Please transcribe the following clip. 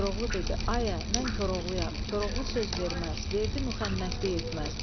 Koroğlu dedi: "Ayə, mən Koroğluyam, Koroğlu söz verməz, verdi müxənnətlik etməz.